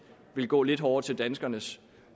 vil gå lidt hårdere til danskernes